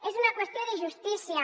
és una qüestió de justícia